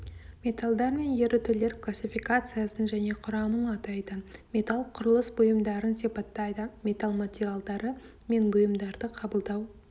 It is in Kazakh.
металлдар мен ерітулер классификациясын және құрамын атайды металл құрылыс бұйымдарын сипаттайды металл материалдары мен бұйымдарды қабылдау